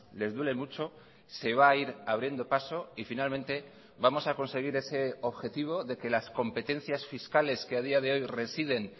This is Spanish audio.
les duele mucho se va a ir abriendo paso y finalmente vamos a conseguir ese objetivo de que las competencias fiscales que a día de hoy residen